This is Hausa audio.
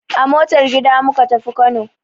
A motar gida muka tafi Kano.